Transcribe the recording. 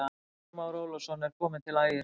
Haukur Már Ólafsson er kominn til Ægis.